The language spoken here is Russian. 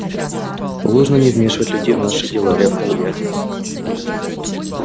положено не вмешивать людей в наши дела рявкнул я